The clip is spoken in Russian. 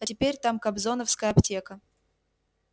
а теперь там кобзоновская аптека